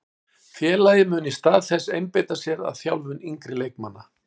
Félagið mun í stað þess einbeita sér að þjálfun yngri leikmanna.